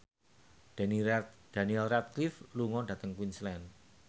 Daniel Radcliffe lunga dhateng Queensland